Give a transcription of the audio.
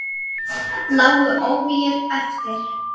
Lágu óvígir eftir.